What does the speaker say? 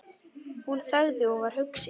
Hún þagði og var hugsi.